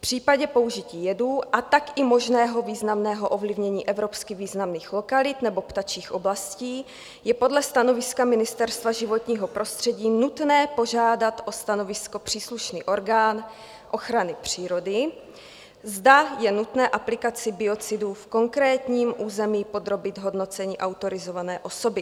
V případě použití jedů a tak i možného významného ovlivnění evropsky významných lokalit nebo ptačích oblastí je podle stanoviska Ministerstva životního prostředí nutné požádat o stanovisko příslušný orgán ochrany přírody, zda je nutné aplikaci biocidů v konkrétním území podrobit hodnocení autorizované osoby.